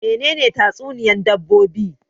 Menene tatsuniyan dabbobi?